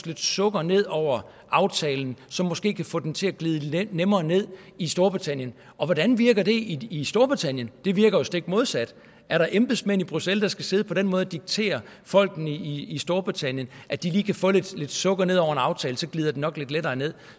lidt sukker ned over aftalen som måske kan få den til at glide nemmere ned i storbritannien og hvordan virker det i storbritannien det virker jo stik modsat er der embedsmænd i bruxelles der skal sidde på den måde og diktere folkene i i storbritannien at de lige kan få lidt sukker ned over en aftale og så glider den nok lidt lettere ned